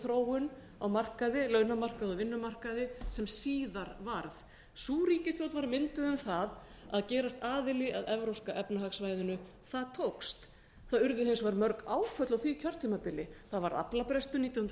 þróun launamarkaði og vinnumarkaði sem síðar varð sú ríkisstjórn var mynduð um að gerast aðili að evrópska efnahagssvæðinu og það tókst það urðu hins vegar mörg áföll á því kjörtímabili það varð aflabrestur nítján hundruð